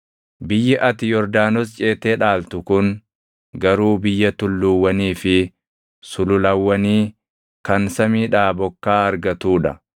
Biyyi ati Yordaanos ceetee dhaaltu kun garuu biyya tulluuwwanii fi sululawwanii kan samiidhaa bokkaa argatuu dha.